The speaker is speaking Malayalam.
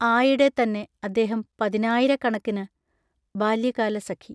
ആയിടെത്തന്നെ അദ്ദേഹം പതിനായിരക്കണക്കിനു ബാല്യകാലസഖി